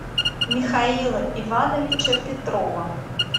михаила ивановича петрова